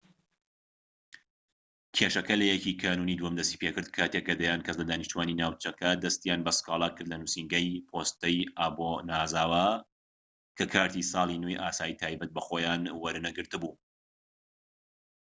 کێشەکە لە 1 کانوونی دووەم دەستی پێکرد کاتێک کە دەیان کەس لە دانیشتوانی ناوچەکە دەستیان بە سکاڵا کردلە نووسینگەی پۆستەی ئۆبانازاوا کە کارتی ساڵی نوێی ئاسایی تایبەت بە خۆیان وەرنەگرت بوو‎